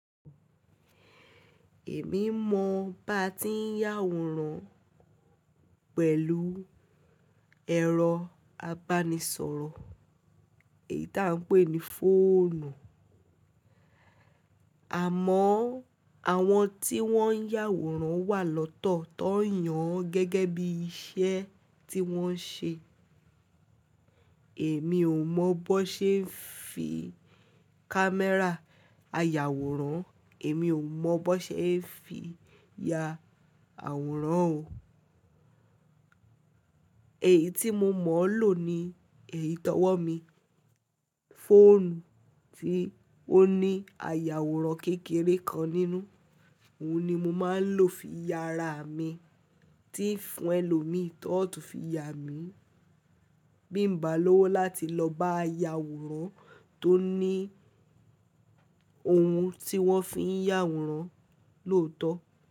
Èmi mọ bá ti ń yàwòrán pẹ̀lú ẹ̀rọ abanisọrọ èyí tí à ń pè ní fóònù, àmọ́ àwọn tí wọ́n ń yàwòrán wà lọ́tọ̀ tó ń yàn án gẹ́gẹ́ bí iṣẹ́ tí wọ́n ń ṣe. Èmi ò mọ bó ṣe ẹ ń fi kámẹ́rà ayàwòrán, èmi ò mọ bó ṣe ẹ ń fi ya àwòrán o. Èyí tí mo mọ̀ ọ́n lò ni èyí tó wọ̀ mí, fóònù tí ó ní àyàwòrán kékeré kan nínú, òun ni mo máa ń lò fi ya ara mi, tí fún ẹlòmíì tọ́ ọ̀tọ̀ fi ya mi. Bí n bá lọ́wọ́ láti lọ bá ayàwòrán tó ní ohun tí wọ́n fi ń yàwòrán lòótọ́.